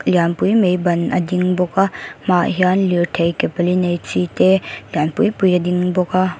lian pui mai ban a ding bawk a hmaah hian lirthei ke pali nei chi te lian pui pui a ding bawk a.